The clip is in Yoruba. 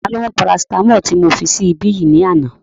Ta ló mú parasitamọ́ọ̀lì tí mo fi sí ibí yìí ní àná?